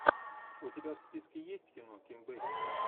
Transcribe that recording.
у тебя в списке есть кино ким бейсингер